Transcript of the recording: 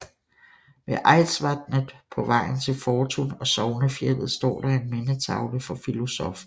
Ved Eidsvatnet på vejen til Fortun og Sognefjellet står der en mindetavle for filosoffen